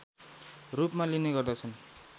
रूपमा लिने गर्दछन्